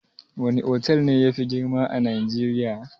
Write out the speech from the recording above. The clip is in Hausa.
Wana otal ne yafi girma a najeriya?